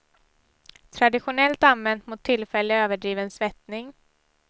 Traditionellt använt mot tillfällig överdriven svettning.